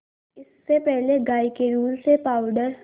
इससे पहले गाय के दूध से पावडर